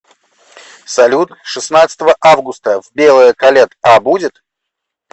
салют шестнадцатого августа в белое колет а будет